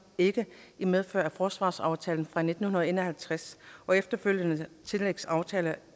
ikke i medfør af forsvarsaftalen fra nitten en og halvtreds og efterfølgende tillægsaftaler